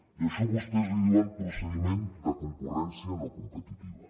i a això vostès li diuen procediment de concurrència no competitiva